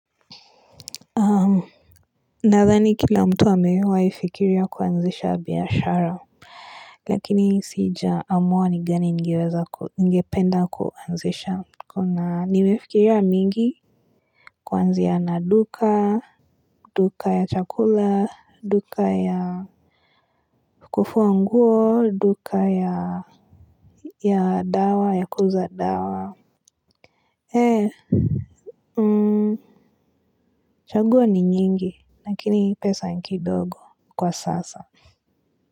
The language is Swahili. Nadhani kila mtu amewaifikiria kuanzisha biashara lakini sijaamua ni gani ningeweza ningependa kuanzisha kuna nimefikiria mingi kuanzia na duka duka ya chakula duka ya kufua nguo duka ya ya dawa ya kuuza dawa ee chaguo ni nyingi lakini pesa niki dogo kwa sasa.